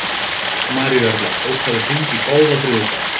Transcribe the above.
Maríuerla, bókaðu hring í golf á þriðjudaginn.